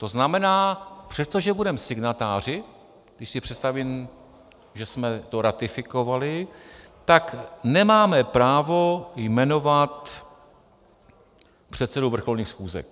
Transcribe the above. To znamená, přestože budeme signatáři - když si představím, že jsme to ratifikovali - tak nemáme právo jmenovat předsedu vrcholných schůzek.